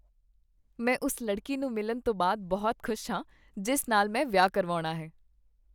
ਮੈਂ ਉਸ ਲੜਕੀ ਨੂੰ ਮਿਲਣ ਤੋਂ ਬਾਅਦ ਬਹੁਤ ਖੁਸ਼ ਹਾਂ ਜਿਸ ਨਾਲ ਮੈਂ ਵਿਆਹ ਕਰਵਾਉਣਾ ਹੈ।